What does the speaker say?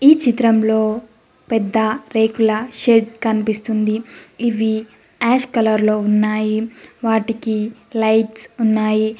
ఈ చిత్రంలో పెద్ద రేకుల షెడ్ కన్పిస్తుంది ఇవి ఆస్ కలర్ లో ఉన్నాయి వాటికి లైట్స్ ఉన్నాయి.